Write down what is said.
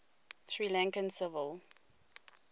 sri lankan civil